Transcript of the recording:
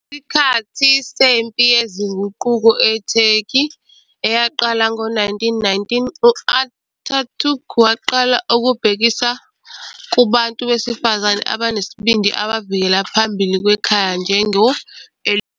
Ngesikhathi sempi yezinguquko eTurkey, eyaqala ngo-1919, u- Atatürk waqala ukubhekisa kubantu besifazane abanesibindi abavikela phambili kwekhaya njengo "Elifs".